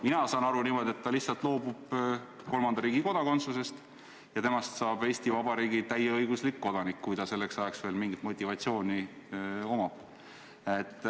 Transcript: Mina saan aru niimoodi, et ta lihtsalt loobub kolmanda riigi kodakondsusest ja temast saab Eesti Vabariigi täieõiguslik kodanik, kui tal selleks ajaks veel mingi motivatsioon on.